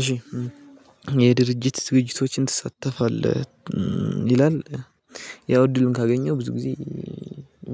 እሺ የድርጅት ዝግጅቶችን ትሳተፋለህ? ይላል ያው እድልን ካገኘው ብዙ ጊዜ